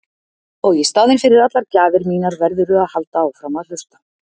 Og í staðinn fyrir allar gjafir mínar verðurðu að halda áfram að hlusta.